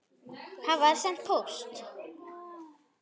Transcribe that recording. Hafa þær sent póst?